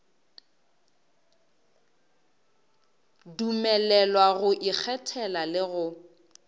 dumelelwa go ikgethela le go